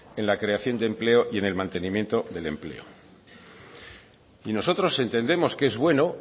en la creación de empleo y en el mantenimiento del empleo y nosotros entendemos que es bueno